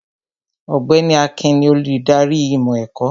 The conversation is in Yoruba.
Ọ̀gbẹ́ni Akin ni olùdarí ìmọ̀ ẹ̀kọ́